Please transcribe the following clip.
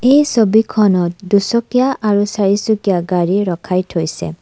এই ছবিখনত দুচকীয়া আৰু চাৰিচকীয়া গাড়ী ৰখাই থৈছে।